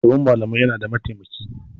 Shugaban malamai yana da mataimaki.